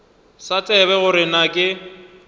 sa tsebe gore na ke